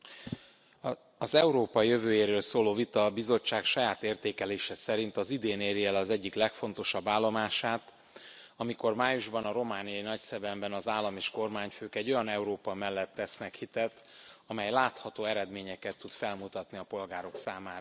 Tisztelt Elnök Úr! Az Európa jövőjéről szóló vita a Bizottság saját értékelése szerint az idén éri el az egyik legfontosabb állomását, amikor májusban a romániai Nagyszebenben az állam és kormányfők egy olyan Európa mellett tesznek hitet, amely látható eredményeket tud felmutatni a polgárok számára.